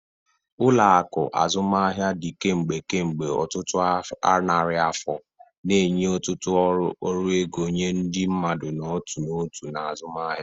Ụlọ akụ azụmaahịa dị kemgbe kemgbe ọtụtụ narị afọ, na-enye ọtụtụ ọrụ ego nye ndị mmadụ n'otu n'otu na azụmaahịa.